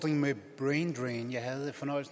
ulden men